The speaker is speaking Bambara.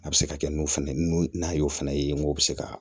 A bɛ se ka kɛ n'u fana nun n'a y'o fana ye n ko bɛ se ka